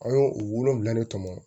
An y'o o wolonwula ne tɔmɔ